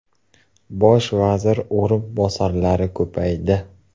Bosh vazir o‘rinbosarlari soni ko‘paydi.